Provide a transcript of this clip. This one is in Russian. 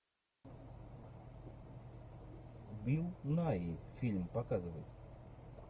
билл найи фильм показывай